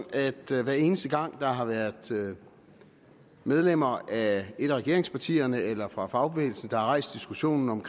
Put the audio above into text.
at hver eneste gang der har været medlemmer af et af regeringspartierne eller fra fagbevægelsen der har rejst diskussionen om